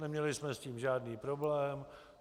Neměli jsme s tím žádný problém.